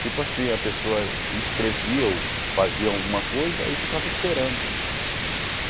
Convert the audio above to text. Tipo assim, a pessoa escrevia ou fazia alguma coisa e ficava esperando.